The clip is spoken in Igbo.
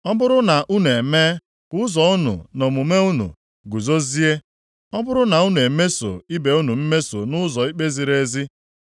Ọ bụrụ na unu emee ka ụzọ unu na omume unu guzozie, ọ bụrụ na unu emesoo ibe unu mmeso nʼụzọ ikpe ziri ezi,